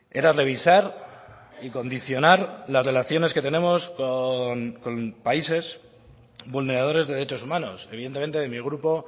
era revisar y condicionar las relaciones que tenemos con países vulneradores de derechos humanos evidentemente de mi grupo